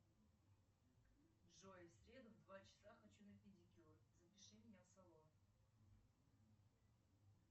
джой в среду в два часа хочу на педикюр запиши меня в салон